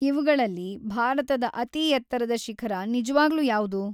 ಇವ್ಗಳಲ್ಲಿ ಭಾರತದ ಅತಿ ಎತ್ತರದ ಶಿಖರ ನಿಜ್ವಾಗ್ಲೂ ಯಾವ್ದು?